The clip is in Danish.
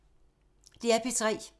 DR P3